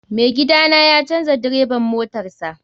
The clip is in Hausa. Mai gida na ya canza direban motarsa.